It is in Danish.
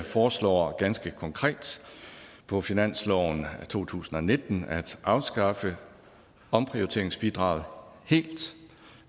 foreslår ganske konkret på finansloven to tusind og nitten at afskaffe omprioriteringsbidraget helt